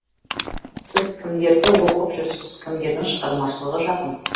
сіз кімдерді оқып жүрсіз кімдердің шығармашылығы жақын